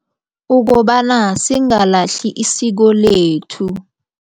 Ukobana singalahli isiko lethu.